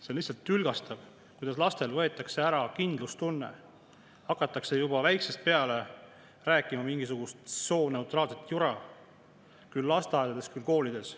See on lihtsalt tülgastav, kuidas lastelt võetakse ära kindlustunne, hakatakse neile juba väiksest peale rääkima mingisugust sooneutraalset jura, küll lasteaedades, küll koolides.